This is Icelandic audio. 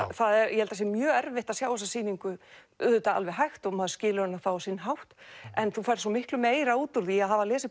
ég held það sé mjög erfitt að sjá þessa sýningu auðvitað alveg hægt og maður skilur hana þá á sinn hátt en þú færð svo miklu meira út úr því að hafa lesið